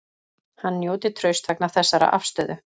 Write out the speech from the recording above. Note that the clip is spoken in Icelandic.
Hann njóti trausts vegna þessarar afstöðu